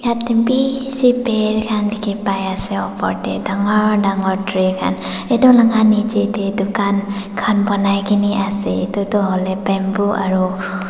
haptepi per khan dekhi pai ase upar te dangor dangor tree khan etu laga niche te dukan khan bonai kena ase etu tu hoi le bamboo aru--